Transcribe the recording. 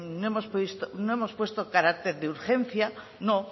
no hemos puesto carácter de urgencia no